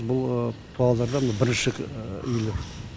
бұл павлодарда бірінші үйлер